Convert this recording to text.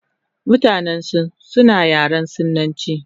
Mutanen sin suna yaren sinachi